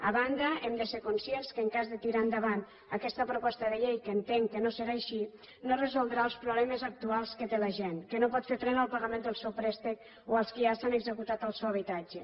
a banda hem de ser conscients que en cas de tirar endavant aquesta proposta de llei que entenc que no serà així no resoldrà els problemes actuals que té la gent que no pot fer front al pagament del seu préstec o els que ja els han executat el seu habitatge